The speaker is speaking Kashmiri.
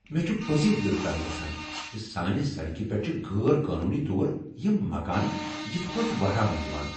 مےٚ چھُ پٔزی دل تنگ گژھان زِ سانہِ سڑکہِ پیٚٹھ چُھ غیر قانونی طور یِم مکانہٕ یِتھ پٲٹھۍ وہراونہٕ یوان ۔